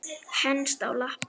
Henst á lappir